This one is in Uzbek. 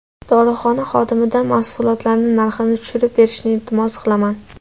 Dorixona xodimidan mahsulotlarning narxini tushirib berishini iltimos qilaman.